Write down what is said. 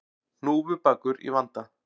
Hnúfubakur í vanda